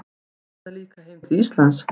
Hugsaði líka heim til Íslands.